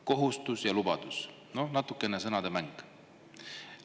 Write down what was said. Kohustus ja lubadus – no natukene sõnademäng.